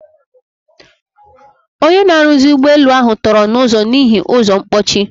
Ọnye na-arụzi ụgbọ elu ahu tọrọ na ụzo n'ihi ụzọ mkpochi.